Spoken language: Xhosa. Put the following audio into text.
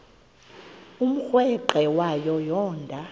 umrweqe wayo yoonda